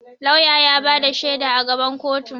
Lauya ya ba da shaida a gaban koto.